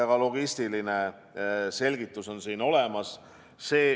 Ka logistiline selgitus on siin olemas.